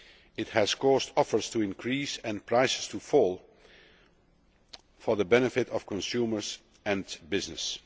It has caused offers to increase and prices to fall for the benefit of consumers and businesses.